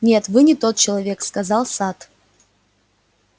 нет вы не тот человек сказал сатт